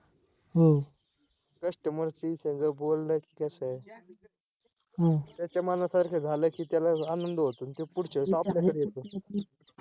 customer सी समझा बोलल तर कस आहे? त्याच्या मना सारख झालं की त्याला आनंद होतो आणि तो पुढच्या वेळेस आपल्या कडे येतो